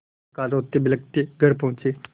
प्रातःकाल रोतेबिलखते घर पहुँचे